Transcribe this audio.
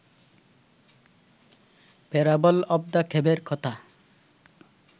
parable of the ক্যাভের কথা